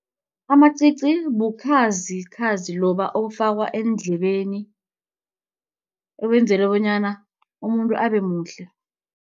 Amacici bukhazikhazi loba obufakwa eendlebeni ebenzelwe bonyana umuntu abe muhle.